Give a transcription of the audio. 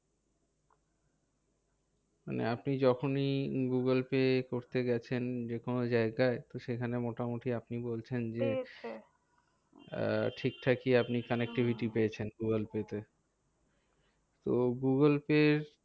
আপনি যখনি গুগুলপে করতে গেছেন যেকোনো জায়গায়? তো সেখানে মোটামুটি আপনি বলছেন যে, আহ ঠিকঠাকিই আপনি connectivity পেয়েছেন গুগুলপে তে? তো গুগুলপে